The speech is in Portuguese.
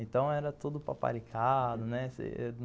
Então era tudo paparicado, né?